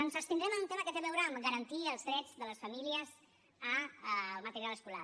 ens abstindrem en un tema que té a veure amb garantir els drets de les famílies al material escolar